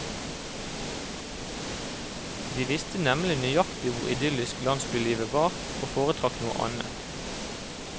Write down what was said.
De visste nemlig nøyaktig hvor idyllisk landsbylivet var, og foretrakk noe annet.